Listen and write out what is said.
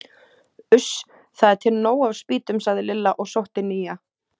Uss, það er til nóg af spýtum sagði Lilla og sótti nýja.